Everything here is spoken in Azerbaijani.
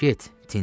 Get, Tinti.